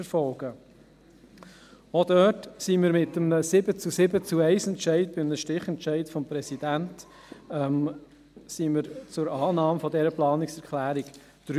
Dort kamen wir auch mit einem 7-zu-7-zu-1-Entscheid mit dem Stichentscheid des Präsidenten zur Annahme der Planungserklärung 3.